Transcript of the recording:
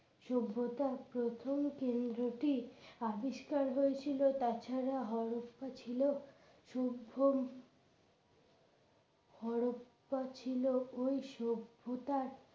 সভ্যতার প্রথম কেন্দ্রটি আবিষ্কার হয়েছিল তাছাড়া হরপ্পা ছিল সভ্য হরপ্পা ছিল ওই সভ্যতার